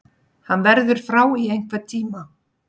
Hann verður frá í einhvern tíma.